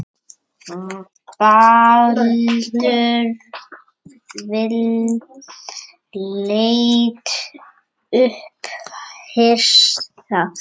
Baldvin leit upp hissa.